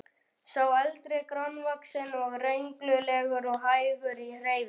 Sá eldri grannvaxinn og renglulegur og hægur í hreyfingum.